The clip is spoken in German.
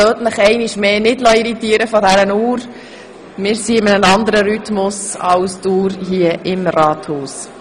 Lassen Sie sich einmal mehr nicht von unserer Wanduhr irritieren – wir sind in einem anderen Rhythmus als die Uhr hier im Rathaus.